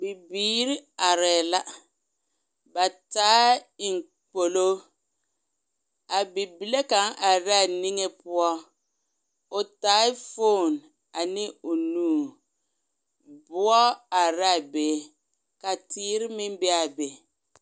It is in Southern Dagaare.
Bibiiri arɛɛ la ba taaɛ eŋ gbolo a bibile kaŋ are la a niŋe poɔ o taa fone a ne o nu boɔ are be ka tēēre meŋ be a be